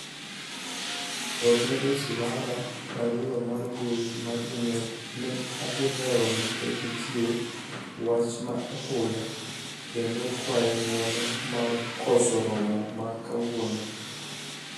orne dosi mara barua mar mbui mar email ni ahi lewo kikech nitie wach ma apoya kendo kwaye ng'uono mar koso romo ma kawuono